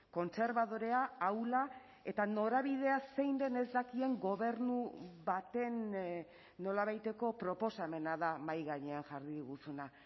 kontserbadorea ahula eta norabidea zein den ez dakien gobernu baten nolabaiteko proposamena da mahai gainean jarri diguzuna